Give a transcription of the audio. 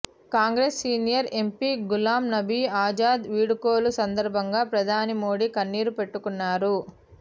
Congress senior MP Ghulam Nabi Azad వీడ్కోలు సందర్భంగా ప్రధాని మోడీ కన్నీరు పెట్టుకున్నారు